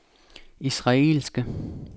israelske